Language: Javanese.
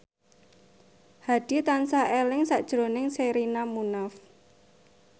Hadi tansah eling sakjroning Sherina Munaf